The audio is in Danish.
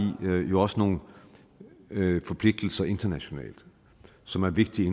jo også nogle forpligtelser internationalt som er vigtige